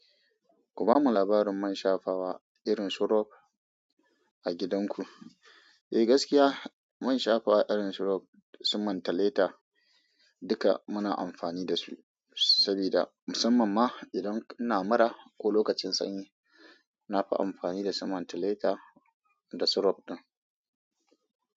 Ku bamu labarin man shafawa irin su robb a gidanku. Eh gaskiya, man shafawa irin su robb da su mentholatol duka muna amfani da su sabida musamman ma idan ina mura ko lokacin sanyi. Na fi amfani da su mentholatol da su robb ɗin.